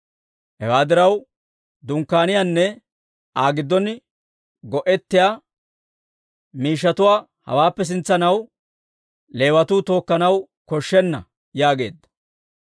Hewaa diraw, Dunkkaaniyaanne Aa giddon go'ettiyaa miishshatuwaa hawaappe sintsanaw Leewatuu tookkanaw koshshenna» yaageedda.